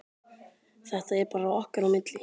Þetta er bara okkar á milli.